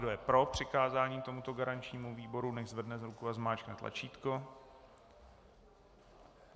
Kdo je pro přikázání tomuto garančnímu výboru, nechť zvedne ruku a zmáčkne tlačítko.